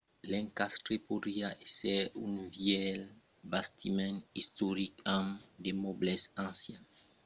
l'encastre podriá èsser un vièlh bastiment istoric amb de mòbles ancians de jardins plan entretenguts e una piscina